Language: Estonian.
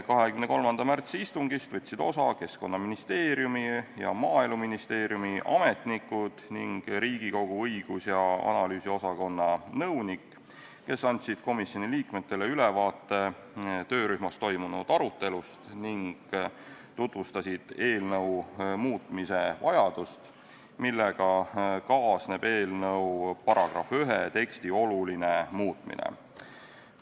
23. märtsi istungist võtsid osa Keskkonnaministeeriumi ja Maaeluministeeriumi ametnikud ning Riigikogu õigus- ja analüüsiosakonna nõunik, kes andsid komisjoni liikmetele ülevaate töörühmas toimunud arutelust ning tutvustasid eelnõu muutmise vajadust, millega kaasneb eelnõu § 1 teksti oluline muutmine.